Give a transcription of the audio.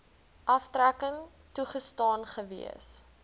aftrekking toegestaan gewees